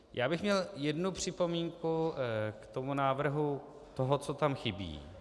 Já bych měl jednu připomínku k tomu návrhu, toho, co tam chybí.